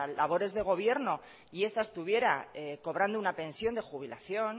labores de gobierno y esta estuviera cobrando una pensión de jubilación